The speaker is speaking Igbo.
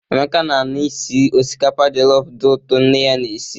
Emeka na-anụ isi osikapa jọlọfụ dị ụtọ nne ya na-esi.